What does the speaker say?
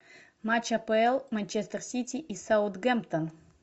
матч апл манчестер сити и саутгемптон